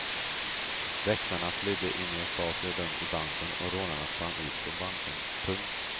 Väktarna flydde in i ett bakre rum i banken och rånarna sprang ut från banken. punkt